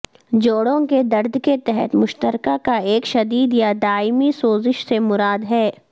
جوڑوں کے درد کے تحت مشترکہ کا ایک شدید یا دائمی سوزش سے مراد ہے